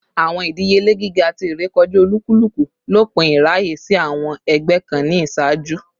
Awọn idiyele giga ti irekọja olukuluku lopin iraye si awọn ẹgbẹ kan ni iṣaaju